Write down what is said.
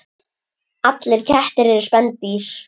Allir kettir eru spendýr